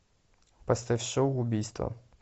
поставь шоу убийство